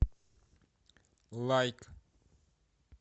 лайк